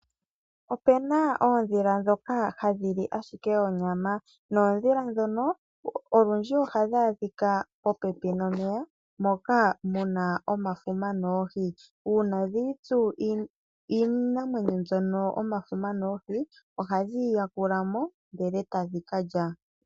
Opena oondhila ndhoka hadhili ashike onyama. Oondhila ndhika olundji oha dhi adhika popepi nomeya moka muna omafuma noohi. Uuna dhi itsu iinamwenyo mbika omafuma noohi, oha dhi yi yakulamo ndele eta dhi kalya.